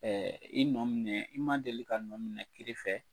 i nɔ minɛ, i ma deli ka nɔminɛ kiri fɛ.